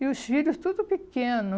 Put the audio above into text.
E os filhos tudo pequeno.